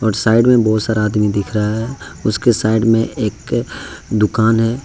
Side में बहुत सारा आदमी दिख रहा है उसके साइड एक दुकान है।